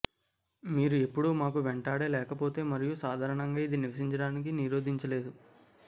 మీరు ఎప్పుడు మాకు వెంటాడే లేకపోతే మరియు సాధారణంగా ఇది నివసించడానికి నిరోధించలేదు